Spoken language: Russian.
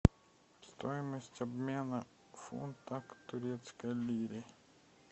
стоимость обмена фунта к турецкой лире